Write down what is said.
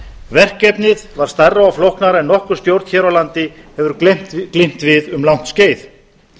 verkefnið var stærra og flóknara en nokkur stjórn hér á landi hefur glímt við um langt skeið